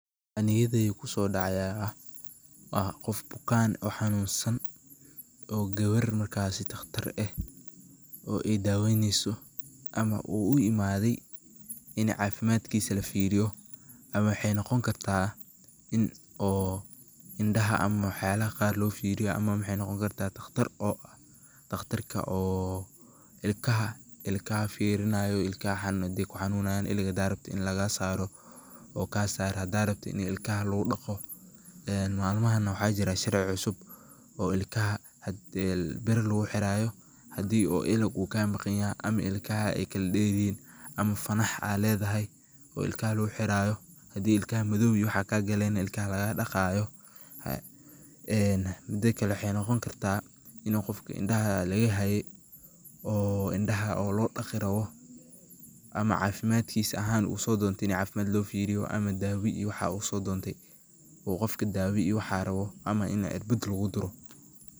Waxa niyadeydha sodaace aya ax, gof bukaan o xanunsan,o gawar markas daqtar ehh,o ey daweyneysoo, ama u uimade, in cafimadkis lafiriyo, ama waxay noqonikarta in indaxa ama waxyal qar lofiroyo, ama waxay nogonikarta, daqtar o daqtarka oo, ilkaxa, ilkaxa firinayo xadhay kunanunayan iliq xadhadh rabto in laqasaro, oo kasaro, xadadh rabtidh in ilkaxa laqudago, malmaxana waxaa jira sharci cusub, oo ilkaxa xadhi bir laguxirayo, xadhi u iliq u kamaqanyoxo, ama ilkax ay kaladeryixiin, ama fanax adh ledhaxay oo ilkaxa laguxirayo, xadhii ilkaxa madow iyo wax kaqalen ilkaxa laqadagayo, xadhi kale waxay nogoni karta ini gofka indaxa lagaxayee, o indaxa lodagirawoo, ama cafimadhkisa axan u sodonte ini cafimadh lofiriyo, amaa dawa iyo waxaa u sodontee,u gofka dawaa iyo waxas u rawo, amaa inti cirbadh iyo waxas laguduro.